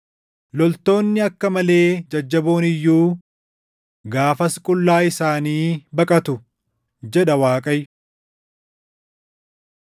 Loltoonni akka malee jajjaboon iyyuu gaafas qullaa isaanii baqatu” jedha Waaqayyo.